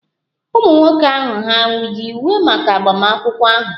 Ụmụ nwoke ahụ hà yi uwe maka agbamakwụkwọ ahụ?